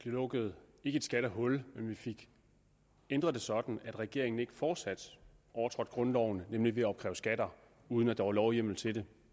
lukket et skattehul men vi fik ændret det sådan at regeringen ikke fortsat overtrådte grundloven nemlig ved at opkræve skatter uden at der var lovhjemmel til det